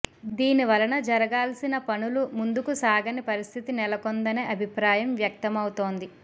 దీనివలన జరగాల్సిన పనులు ముందుకు సాగని పరిస్థితి నెలకొందనే అభిప్రాయం వ్యక్తమవుతోంది